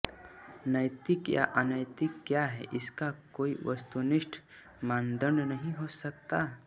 नैतिक या अनैतिक क्या है इसका कोई वस्तुनिष्ठ मानदंड नहीं हो सकता